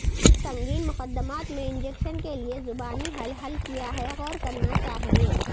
اس سنگین مقدمات میں انجیکشن کے لئے زبانی حل حل کیا ہے غور کرنا چاہیے